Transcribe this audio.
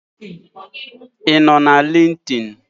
I no na linkdin?